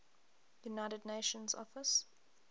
united nations office